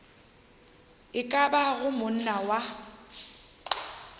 e ka bago monna wa